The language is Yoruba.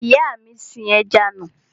Ìyá mi sin ẹja nù.